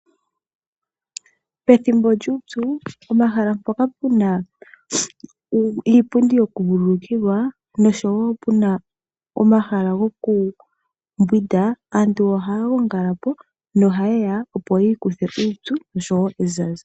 Pethimbo lyuupyu, pomahala mpoka puna iipundi okuvululukilwa nosho wo puna omahala gokumbwinda, aantu ohaya gongala po na ohayeya opo yiikuthe uupyu nosho wo ezaza.